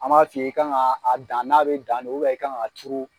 An b'a f'i ye i kan ka a dan n'a bɛ dan ne i ka kan ka turu.